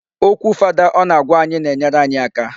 Okwu fada ọ na-agwa anyị na-enyere anyị aka.